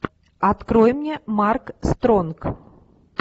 открой мне марк стронг